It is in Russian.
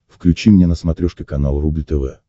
включи мне на смотрешке канал рубль тв